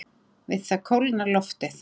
Við það kólnar loftið.